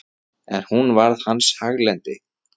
En hún varð hans haglendi.